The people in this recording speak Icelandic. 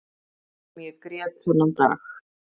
Það sem ég grét þennan dag